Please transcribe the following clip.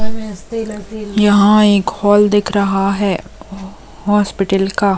यहाँ एक हॉल दिख रहा है हॉस्पिटल का--